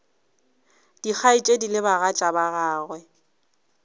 dikgaetšedi le bagatša ba gagwe